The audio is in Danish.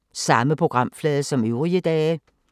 Samme programflade som øvrige dage